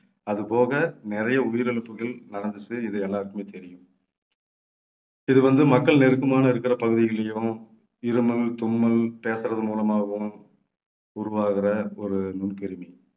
அது போக நிறைய உயிரிழப்புகள் நடந்துச்சு இது எல்லாருக்குமே தெரியும். இது வந்து மக்கள் நெருக்கமான இருக்கிற பகுதிகளையும் இருமல் தும்மல் பேசுறது மூலமாகவும் உருவாகிற ஒரு நுண்கிருமி